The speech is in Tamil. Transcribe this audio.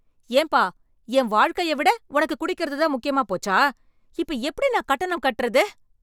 ஏன்பா என் வாழ்க்கைய விட உனக்கு குடிக்கிறது தான் முக்கியமாப் போச்சா, இப்ப எப்படி நான் கட்டணம் கட்டுறது?